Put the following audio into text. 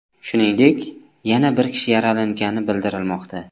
Shuningdek, yana bir kishi yaralangani bildirilmoqda.